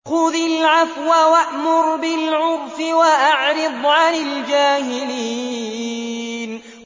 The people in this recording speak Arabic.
خُذِ الْعَفْوَ وَأْمُرْ بِالْعُرْفِ وَأَعْرِضْ عَنِ الْجَاهِلِينَ